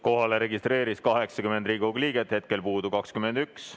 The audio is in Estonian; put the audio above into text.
Kohalolijaks registreeris end 80 Riigikogu liiget, hetkel on puudu 21.